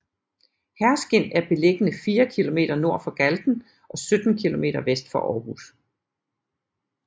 Herskind er beliggende fire kilometer nord for Galten og 17 kilometer vest for Aarhus